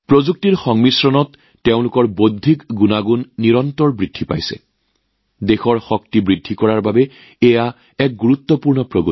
প্ৰযুক্তিৰ সংমিশ্ৰণৰ জৰিয়তে তেওঁলোকৰ বৌদ্ধিক সম্পত্তিৰ নিৰন্তৰ উত্থানএইটো সঁচাকৈয়ে দেশৰ সামৰ্থ্য বৃদ্ধিৰ ক্ষেত্ৰত অগ্ৰগতিৰ এক গুৰুত্বপূৰ্ণ দিশ